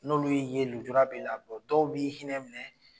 N'olu y'i ye lujura b'i la dɔw b'i hinɛ minɛ